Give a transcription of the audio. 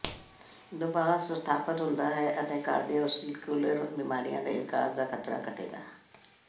ਦਬਾਅ ਸਥਾਪਤ ਹੁੰਦਾ ਹੈ ਅਤੇ ਕਾਰਡੀਓਵੈਸਕੁਲਰ ਬਿਮਾਰੀਆਂ ਦੇ ਵਿਕਾਸ ਦਾ ਖ਼ਤਰਾ ਘਟੇਗਾ